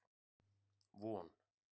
Von